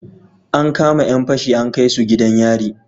An kama Yan fashi an kaisu gidan yari